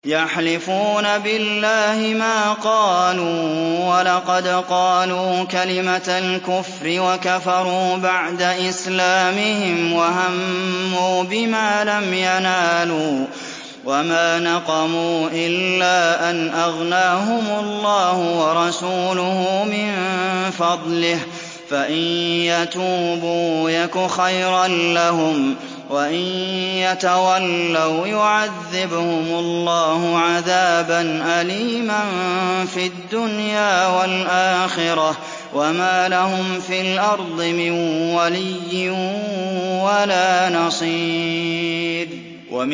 يَحْلِفُونَ بِاللَّهِ مَا قَالُوا وَلَقَدْ قَالُوا كَلِمَةَ الْكُفْرِ وَكَفَرُوا بَعْدَ إِسْلَامِهِمْ وَهَمُّوا بِمَا لَمْ يَنَالُوا ۚ وَمَا نَقَمُوا إِلَّا أَنْ أَغْنَاهُمُ اللَّهُ وَرَسُولُهُ مِن فَضْلِهِ ۚ فَإِن يَتُوبُوا يَكُ خَيْرًا لَّهُمْ ۖ وَإِن يَتَوَلَّوْا يُعَذِّبْهُمُ اللَّهُ عَذَابًا أَلِيمًا فِي الدُّنْيَا وَالْآخِرَةِ ۚ وَمَا لَهُمْ فِي الْأَرْضِ مِن وَلِيٍّ وَلَا نَصِيرٍ